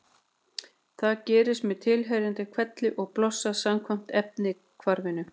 Það gerist með tilheyrandi hvelli og blossa samkvæmt efnahvarfinu: